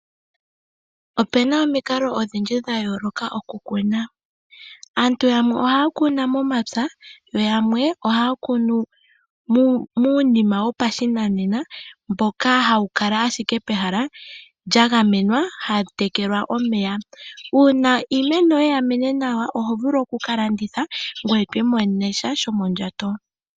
Opuna omikalo odhindji dha yooloka okukuna, aantu yamwe ohaya kunu momapya yo yamwe ohaya kunu munima wopa shinanena mboka hawu kala ashike pehala lya gamenwa hamu tekelwa omeya, una iimeno yoye yamene nawa ohovulu oku kalanditha ngwe twiimonenemo sha sho mondjato.